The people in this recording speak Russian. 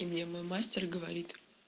и мне мой мастер говорит